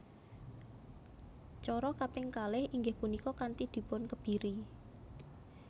Cara kaping kalih inggih punika kanthi dipunkebiri